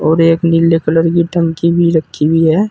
और एक नीले कलर की टंकी भी रखी हुई है।